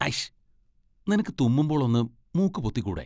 അയ്ഷ്!! നിനക്ക് തുമ്മുമ്പോൾ ഒന്ന് മൂക്ക് പൊത്തിക്കൂടെ?